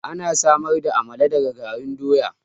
Ana samar da amala daga garin doya